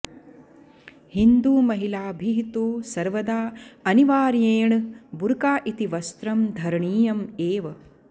हिन्दूमहिलाभिः तु सर्वदा अनिवार्येण बुर्का इति वस्त्रं धरणीयम् एव